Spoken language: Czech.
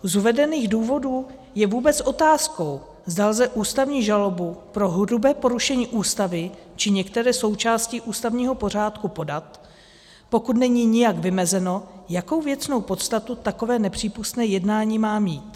Z uvedených důvodů je vůbec otázkou, zda lze ústavní žalobu pro hrubé porušení Ústavy či některé součásti ústavního pořádku podat, pokud není nijak vymezeno, jakou věcnou podstatu takové nepřípustné jednání má mít.